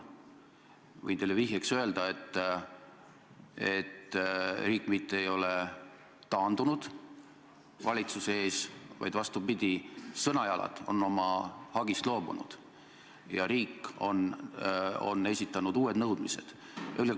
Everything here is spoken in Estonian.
Võin teile vihjeks öelda, et riik mitte ei ole taandunud valitsuse ees, vaid vastupidi, Sõnajalad on oma hagist loobunud ja riik on esitanud uued nõudmised.